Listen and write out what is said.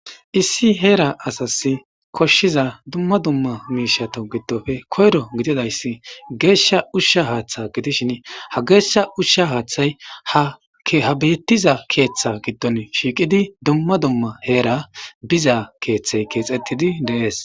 issi heera asas koshshiza dumma dumma miishato giddofe koyro gididayssi geeshsha ushsha haaththa gidishin ha geeshsha ushsha haaththay ha bettiza keeththa giddon shiiqidi dumma dumma heera biza keeththey keexettidi deees